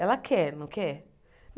Ela quer, não quer?